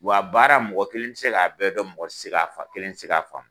Wa baara mɔgɔ kelen ti se ka bɛɛ kɛ mɔgɔ ti se ka fa, kelen ti se ka faamu.